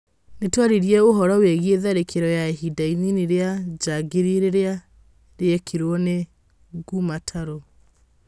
Nĩtwarĩrĩirĩe ũhoro wĩgĩe tharĩkĩro ya ihinda inini rĩa njangirĩ rĩrĩa rĩekirwo nĩ ngũmataru.